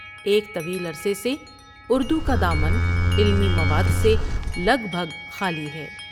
ایک طویل عرصے سے اُردو کا دامن علمی مواد سے لگ بگ خالی ہے۔